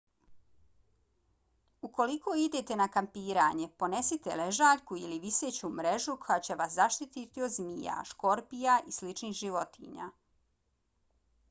ukoliko idete na kampiranje ponesite ležaljku ili viseću mrežu koja će vas zaštiti od zmija škorpija i sličnih životinja